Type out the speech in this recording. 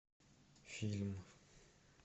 фильм